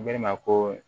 Ne ma ko